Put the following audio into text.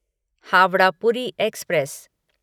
Howrah Puri express